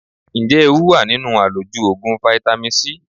Ǹjẹ́ ewu wà nínú àlòjù Ògùn fáítámì C?